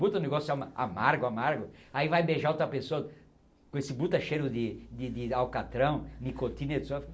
Bota um negócio ama amargo amargo, aí vai beijar outra pessoa com esse buta cheiro de alcatrão, nicotina e